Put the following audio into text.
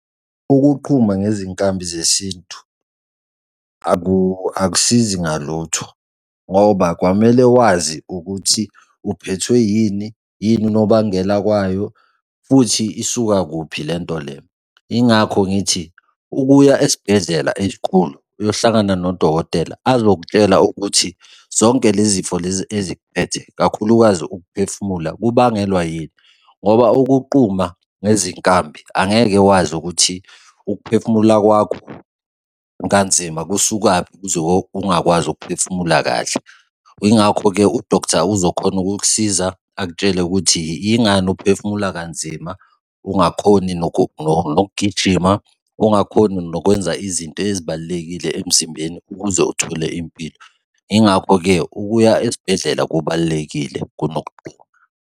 Ukuqhuma ngezinkambi zesintu akusizi ngalutho ngoba kwamele wazi ukuthi uphethwe yini? Yini unobangela kwayo? Futhi isuka kuphi lento le? Yingakho ngithi ukuya esibhedlela ezinkulu uyohlangana nodokotela azokutshela ukuthi zonke lezi zifo lezi eziphethe kakhulukazi ukuphefumula, kubangelwa yini? Ngoba ukuquma ngezinkabi angeke wazi ukuthi ukuphefumula kwakho kanzima kusuka kuphi ukuze ungakwazi ukuphefumula kahle? Yingakho-ke u-doctor uzokhona ukukusiza, akutshele ukuthi yingani uphefumula kanzima ungakhoni nokugijima? Ungakhoni nokwenza izinto ezibalulekile emzimbeni ukuze uthole impilo? Yingakho-ke ukuya esibhedlela kubalulekile kunokugquma.